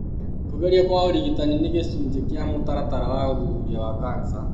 Kũgerio kwa ũrigitani nĩ gĩcunjĩ kĩa mũtaratara wa ũthuthuria wa kanca.